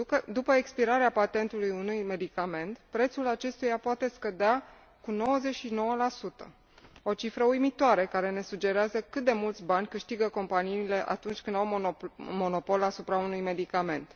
După expirarea patentului unui medicament, prețul acestuia poate scădea cu 99 o cifră uimitoare care ne sugerează cât de mulți bani câștigă companiile atunci când au monopol asupra unui medicament.